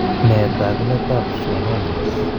Nee taakunetab schwannomas?